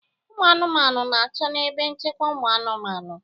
Ụmụ anụmanụ ga-anọ na ebe nchekwa ụmụ anụmanụ